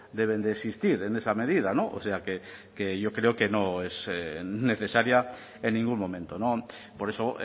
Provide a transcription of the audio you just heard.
deben de existir en esa medida o sea que yo creo que no es necesaria en ningún momento por eso